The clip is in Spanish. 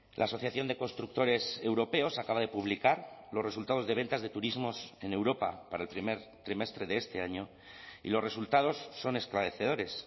la asociación de constructores europeos acaba de publicar los resultados de ventas de turismos en europa para el primer trimestre de este año y los resultados son esclarecedores